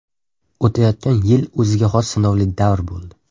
O‘tayotgan yil o‘ziga xos sinovli davr bo‘ldi.